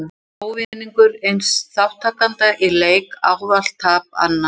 Þá er ávinningur eins þátttakanda í leik ávallt tap annars.